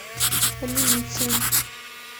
линьцин